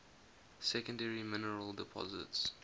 secondary mineral deposits